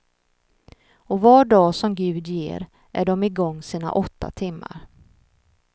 Och var dag som gud ger är dom i gång sina åtta timmar.